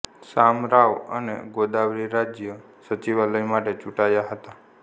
શામરાવ અને ગોદાવરી રાજ્ય સચિવાલય માટે ચૂંટાયા હતા